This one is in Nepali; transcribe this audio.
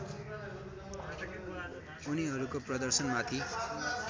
उनीहरूको प्रदर्शनमाथि